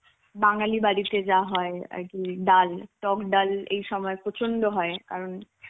বাঙালি বাড়িতে যা হয় আর কি ডাল টক ডাল এই সময় প্রচন্ড হয় কারণ